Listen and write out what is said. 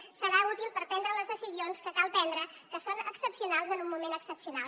serà útil per prendre les decisions que cal prendre que són excepcionals en un moment excepcional